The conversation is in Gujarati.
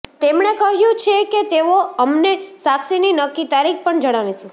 તેમણે કહ્યુ છે કે તેઓ અમને સાક્ષીની નક્કી તારીખ પણ જણાવીશું